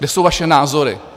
Kde jsou vaše názory?